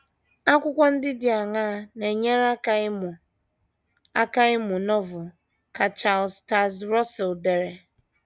Akwụkwọ ndị dị aṅaa na - enye aka ịmụ aka ịmụ Novel ka Charles Taze Russell dere?